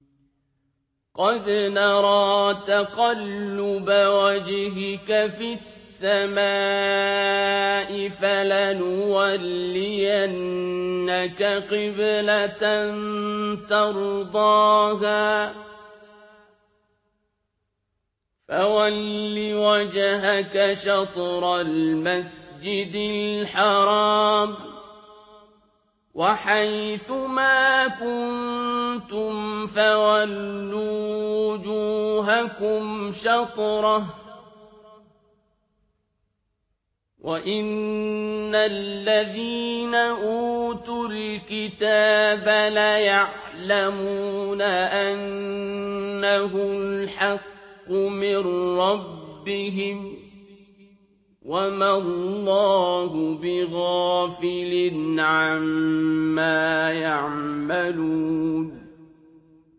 قَدْ نَرَىٰ تَقَلُّبَ وَجْهِكَ فِي السَّمَاءِ ۖ فَلَنُوَلِّيَنَّكَ قِبْلَةً تَرْضَاهَا ۚ فَوَلِّ وَجْهَكَ شَطْرَ الْمَسْجِدِ الْحَرَامِ ۚ وَحَيْثُ مَا كُنتُمْ فَوَلُّوا وُجُوهَكُمْ شَطْرَهُ ۗ وَإِنَّ الَّذِينَ أُوتُوا الْكِتَابَ لَيَعْلَمُونَ أَنَّهُ الْحَقُّ مِن رَّبِّهِمْ ۗ وَمَا اللَّهُ بِغَافِلٍ عَمَّا يَعْمَلُونَ